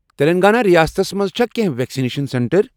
تیٚلنٛگانہ ریاستس مَنٛز چھا کینٛہہ ویکسنیشن سینٹر۔